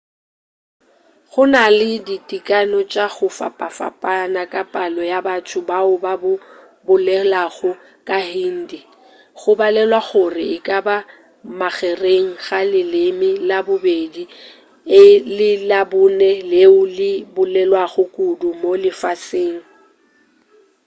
gona le ditekano tša go fapafapana ka palo ya batho bao ba bolelago sehindi go balelwa gore e ka ba magereng ga leleme la bobedi le labone leo le bolelwago kudu mo lefaseng